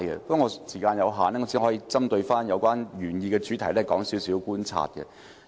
不過，時間有限，我只可以針對原議案的主題，指出一些觀察所得。